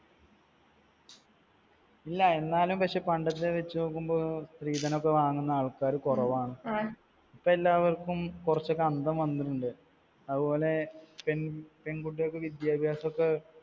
ഇല്ല. എന്നാലും പക്ഷെ പണ്ടത്തെ വെച്ച് നോക്കുമ്പോൾ സ്ത്രീധനമൊക്കെ വാങ്ങുന്ന ആൾക്കാര് കുറവാണ്. ഇപ്പൊ എല്ലാവർക്കും കുറച്ചൊക്കെ അന്തം വന്നിട്ടുണ്ട്. അതുപോലെ പെൺകുട്ടികൾക്ക് വിദ്യാഭ്യാസോക്കെ